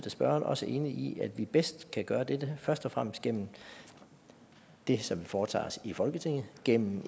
af spørgeren også enig i at vi bedst kan gøre dette først og fremmest gennem det som vi foretager os i folketinget gennem